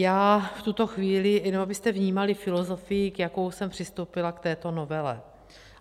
Já v tuto chvíli - jenom abyste vnímali filozofii, s jakou jsem přistoupila k této novele.